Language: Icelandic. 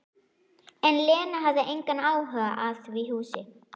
En Lena hafði engan áhuga á því húsi.